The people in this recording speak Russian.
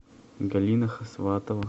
галина хасватова